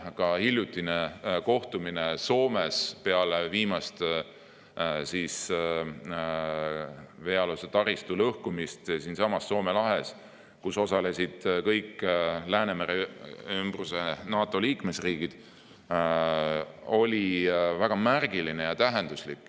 Ka hiljutine kohtumine Soomes, mis toimus pärast seda, kui oli aset leidnud viimane veealuse taristu lõhkumine siinsamas Soome lahes ja kus osalesid kõik Läänemere ümbruse NATO riigid, oli väga märgiline ja tähenduslik.